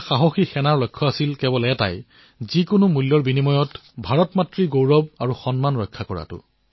আমাৰ সাহসী সেনাসকলৰ এটাই লক্ষ্য আছিল যিকোনো মূল্যত ভাৰত মাতৃৰ গৌৰৱ আৰু সন্মানৰ ৰক্ষা কৰা